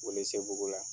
Welesebugu la